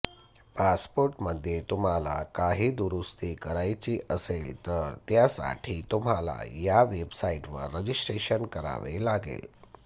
पासपोर्टमध्ये तुम्हाला काही दुरूस्ती करायची असेल तर त्यासाठी तुम्हाला या वेबसाईटवर रजिस्ट्रेशन करावे लागेल